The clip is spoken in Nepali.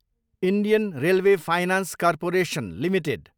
Indian railway finance corporation Ltd